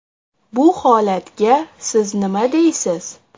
Bu holatga siz nima deysiz?